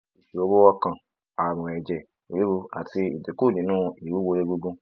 iṣoro ọkan arun eje riru ati idinku ninu iwuwo egungun